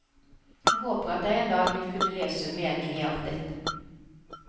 Jeg håper at jeg en dag vil kunne lese en mening i alt dette.